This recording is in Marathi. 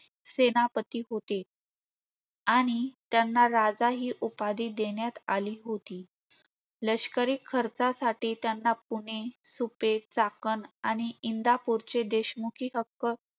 सेनापती होते. आणि त्यांना राजा ही उपाधी देण्यात आली होती. लष्करी खर्चासाठी त्यांना पुणे, सुपे, चाकण आणि इंधापुरचे सेनापती हक्क